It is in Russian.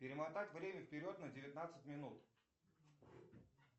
перемотать время вперед на девятнадцать минут